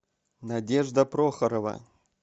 надежда прохорова